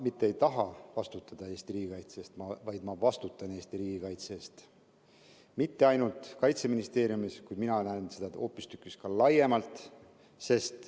Mitte et ma ei taha vastutada Eesti riigikaitse eest, vaid ma vastutan Eesti riigikaitse eest ja mitte ainult Kaitseministeeriumis, mina näen seda hoopistükkis laiemalt.